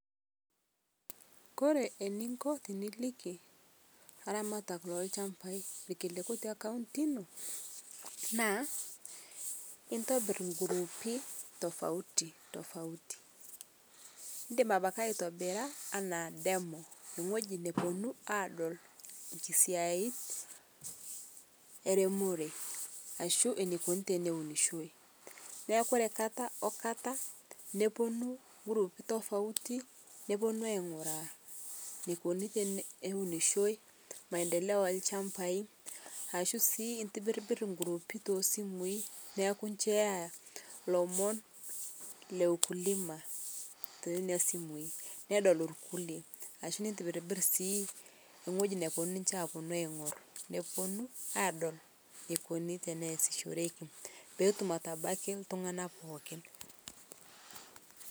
kore ninko tiniliki laramatak lolshampai lkiliku tekaunti inoo naa intobir nguruupi tofauti tofauti indim abaki aitobira ana demo nghoji neponuu adol nkisiyait eremoree ashuu neikoni teneunishoi naaku kore kata okata noponuu nguruupii tofauti noponuu ainguraa neikoni teneunishoi maendeleo elshampai ashu sii intibbir nguruupi tosimui naaku in share lomon leukulima teinia simui nedol lkulie ashuu nintibirbir sii nghoji noponuu ninshe aponu aingur neponuu adol neikonii teneasishorekii pootum atabaki ltungana pookin